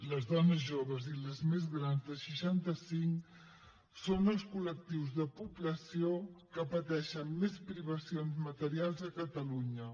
les dones joves i les més grans de seixanta cinc són els col·lectius de població que pateixen més privacions materials a catalunya